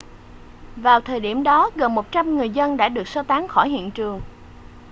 vào thời điểm đó gần 100 người dân đã được sơ tán khỏi hiện trường